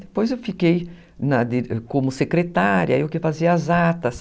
Depois eu fiquei na como secretária, eu que fazia as atas.